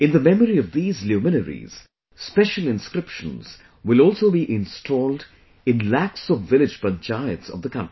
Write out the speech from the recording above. In the memory of these luminaries, special inscriptions will also be installed in lakhs of village panchayats of the country